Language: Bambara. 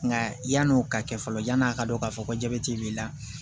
Nka yan'o ka kɛ fɔlɔ yan'a ka dɔn k'a fɔ ko jabɛti b'i la